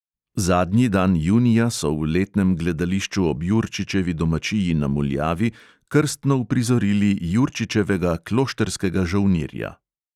Zadnji dan junija so v letnem gledališču ob jurčičevi domačiji na muljavi krstno uprizorili jurčičevega kloštrskega žolnirja.